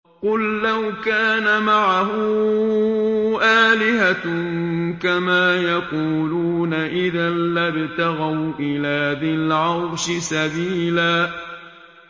قُل لَّوْ كَانَ مَعَهُ آلِهَةٌ كَمَا يَقُولُونَ إِذًا لَّابْتَغَوْا إِلَىٰ ذِي الْعَرْشِ سَبِيلًا